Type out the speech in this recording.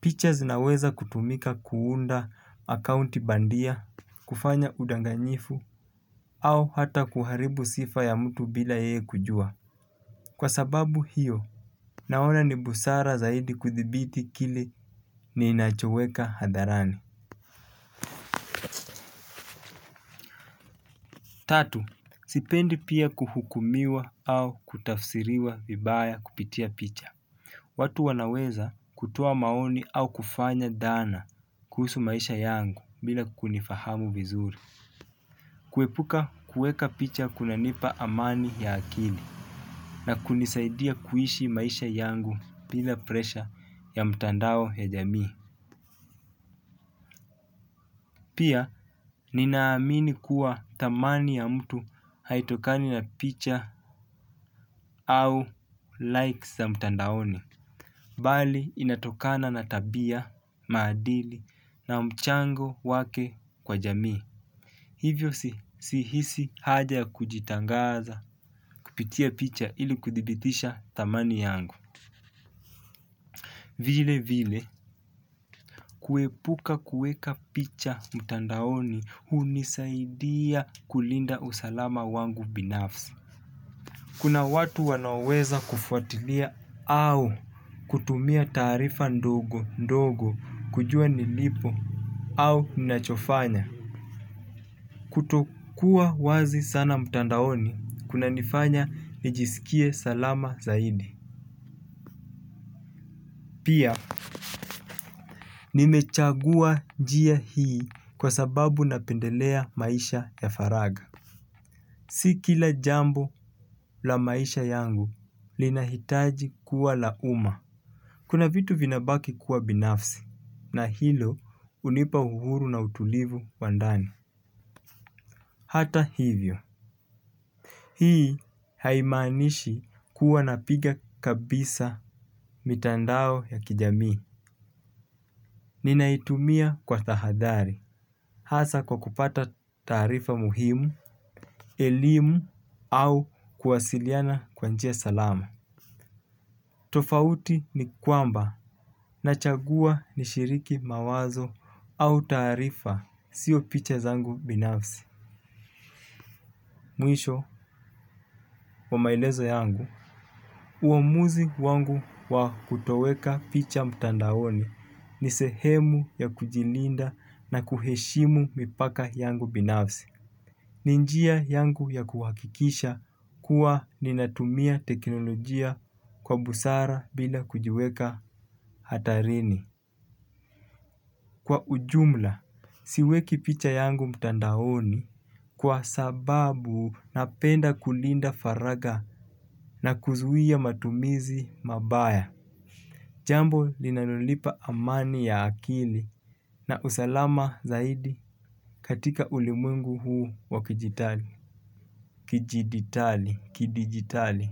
Picha zinaweza kutumika kuunda akaunti bandia, kufanya udanganyifu au hata kuharibu sifa ya mtu bila yeye kujua. Kwa sababu hiyo. Naona ni busara zaidi kuthibiti kile ninachoweka hadharani. Tatu, sipendi pia kuhukumiwa au kutafsiriwa vibaya kupitia picha. Watu wanaweza kutoa maoni au kufanya dhana kuhusu maisha yangu bila kunifahamu vizuri. Kuepuka kueka picha kunanipa amani ya akili na kunisaidia kuhishi maisha yangu bila presha ya mtandao ya jamii. Pia ninaamini kuwa thamani ya mtu haitokani na picha au likes za mtandaoni bali inatokana na tabia, maadili na mchango wake kwa jamii hivyo si hisi haja ya kujitangaza kupitia picha ili kuthibitisha thamani yangu. Vile vile, kuepuka kuweka picha mtandaoni hunisaidia kulinda usalama wangu binafsi. Kuna watu wanaoweza kufuatilia au kutumia taarifa ndogo ndogo kujuwa nilipo au ninachofanya. Kutokuwa wazi sana mtandaoni, kuna nifanya nijisikie salama zaidi. Pia nimechagua njia hii kwa sababu napendelea maisha ya faraga. Si kila jambo la maisha yangu linahitaji kuwa la umma. Kuna vitu vinabaki kuwa binafsi na hilo unipa uhuru na utulivu wa ndani. Hata hivyo. Hii haimanishi kuwa napiga kabisa mitandao ya kijamii. Ninaitumia kwa thahadhari. Hasa kwa kupata taarifa muhimu, elimu au kuwasiliana kwa njia salama. Tofauti ni kwamba na chagua ni shiriki mawazo au taarifa sio picha zangu binafsi. Mwisho, wa maelezo yangu, uamuzi wangu wa kutoweka picha mtandaoni ni sehemu ya kujilinda na kuheshimu mipaka yangu binafsi. Ni njia yangu ya kuwakikisha kuwa ninatumia teknolojia kwa busara bila kujiweka hatarini. Kwa ujumla, siweki picha yangu mtandaoni. Kwa sababu napenda kulinda faraga na kuzuia matumizi mabaya jambo linalonipa amani ya akili. Na usalama zaidi. Katika ulimwengu huwa kidijitali.